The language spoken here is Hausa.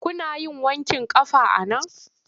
Kuna yin wanƙin ƙafa a nan?